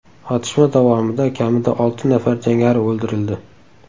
Otishma davomida kamida olti nafar jangari o‘ldirildi.